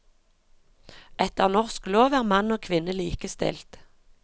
Etter norsk lov er mann og kvinne likestilt.